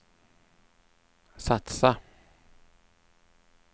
satsa